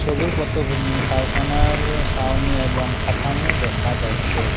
ছবির পতভূমি কারখানার সাউনি এবং কাথামো দেখা যাইচ্ছে।